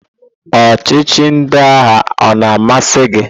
Ọchịchị ndị agha o na-amasị gị?